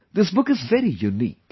This book is very unique